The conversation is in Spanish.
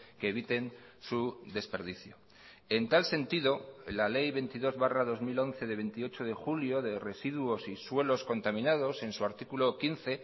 que eviten su desperdicio en tal sentido la ley veintidós barra dos mil once de veintiocho de julio de residuos y suelos contaminados en su artículo quince